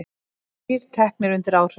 Þrír teknir undir áhrifum